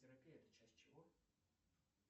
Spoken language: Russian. терапия это часть чего